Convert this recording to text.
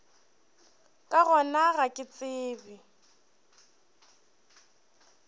ka gona ga ke tsebe